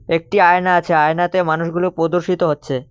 একটি আয়না আছে আয়নাতে মানুষগুলো প্রদর্শিত হচ্ছে।